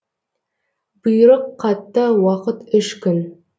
бұйрық қатты уақыт үш күн